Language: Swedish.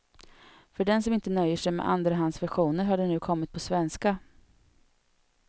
För den som inte nöjer sig med andrahandsversioner har den nu kommit på svenska.